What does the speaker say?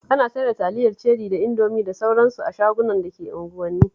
Ana sayar da taliyar Ceri da Indomi da sauran su a shagunan da ke unguwanni.